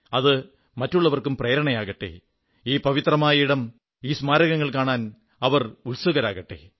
അത് മറ്റുള്ളവർക്കും പ്രേരണയാകട്ടെ ഈ പവിത്രമായ ഇടം ഈ സ്മാരകങ്ങൾ കാണാൻ അവർ ഉത്സുകരാകട്ടെ